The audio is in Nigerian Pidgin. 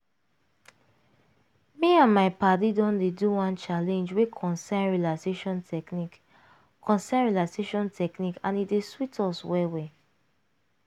me and my padi don dey do one challenge wey concern relaxation technique concern relaxation technique and e don dey sweet us well well.